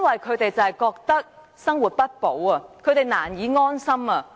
他們覺得生活不保，難以安心。